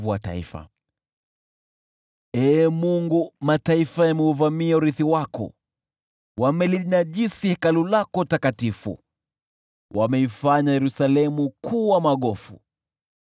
Ee Mungu, mataifa yameuvamia urithi wako, wamelinajisi Hekalu lako takatifu, wameifanya Yerusalemu kuwa magofu.